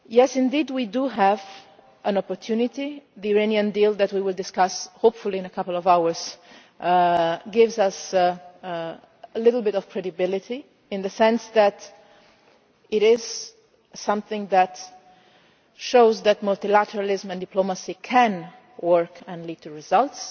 Indeed, we do have an opportunity the Iranian deal that we will discuss, hopefully, in a couple of hours gives us a little bit of credibility in the sense that it is something that shows that multilateralism and diplomacy can work and lead to results,